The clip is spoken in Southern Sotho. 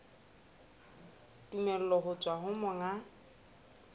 tumello ho tswa ho monga